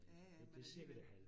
Ja ja men alligevel